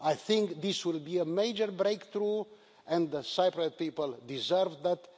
I think this will be a major breakthrough, and the Cypriot people deserve that.